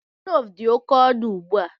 Cloves dị oke ọnụ ugbu a.